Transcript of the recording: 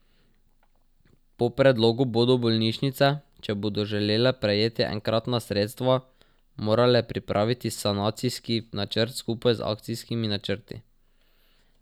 Po predlogu bodo bolnišnice, če bodo želele prejeti enkratna sredstva, morale pripraviti sanacijski načrt skupaj z akcijskimi načrti.